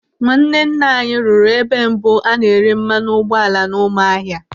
Nwanne nna anyị rụrụ ebe mbụ a na-ere mmanụ ụgbọala n'Ụmụahịa.